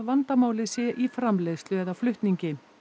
vandamálið sé í framleiðslu eða flutningi